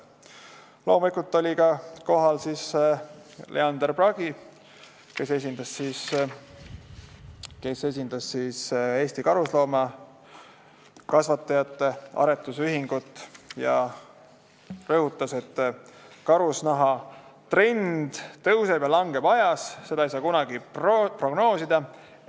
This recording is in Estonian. Loomulikult oli kohal ka Leander Pragi, kes esindas Eesti Karusloomakasvatajate Aretusühingut ja rõhutas, et karusnahatrend tõuseb ja langeb aja jooksul, seda ei saa kunagi prognoosida.